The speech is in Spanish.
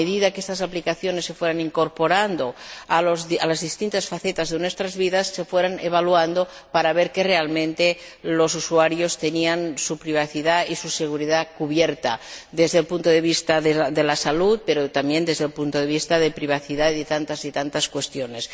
A medida que estas aplicaciones se vayan incorporando a las distintas facetas de nuestras vidas, se han de ir evaluando, para ver que, realmente, los usuarios tengan su privacidad y su seguridad cubiertas, desde el punto de vista de la salud, pero también desde el punto de vista de la privacidad y de tantas y tantas cuestiones.